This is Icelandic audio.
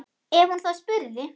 Ef hún þá spurði.